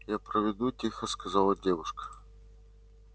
я проведу тихо сказала девушка